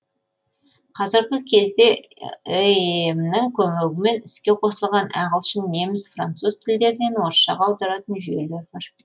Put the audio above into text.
қазіргі кезде эем нің көмегімен іске қосылған ағылшын неміс француз тілдерінен орысшаға аударатын жүйелер бар